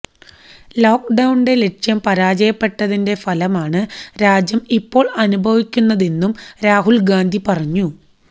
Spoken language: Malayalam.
ലോക് ഡൌണിന്റെ ലക്ഷ്യം പരാജയപ്പെട്ടതിന്റെ ഫലമാണ് രാജ്യം ഇപ്പോള് അനുഭവിക്കുന്നതെന്നും രാഹുല് ഗാന്ധി പറഞ്ഞു